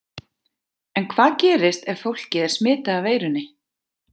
En hvað gerist ef fólkið er smitað af veirunni?